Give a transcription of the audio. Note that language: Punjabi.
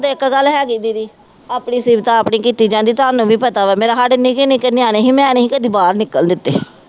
ਇੱਕ ਗੱਲ ਹੈ ਦੀਦੀ ਆਪਣੀ ਸ਼ਿਫਤ ਆਪ ਨਹੀਂ ਕੀਤੀ ਜਾਂਦੀ, ਤੁਹਾਨੂੰ ਵੀ ਪਤਾ ਵਾ ਮੇਰਾ ਸਾਡੇ ਨਿੱਕੇ ਨਿੱਕੇ ਨਿਆਣੇ ਸੀ ਮੈਂ ਨਹੀਂ ਸੀ ਕਦੀ ਬਾਹਰ ਨਿਕਲਣ ਦਿੱਤੇ